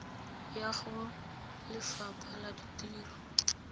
ya go lefapha la ditiro